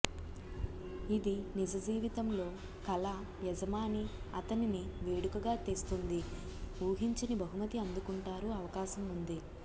ఇది నిజ జీవితంలో కల యజమాని అతనిని వేడుకగా తెస్తుంది ఊహించని బహుమతి అందుకుంటారు అవకాశం ఉంది